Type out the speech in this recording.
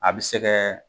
A bɛ se kɛ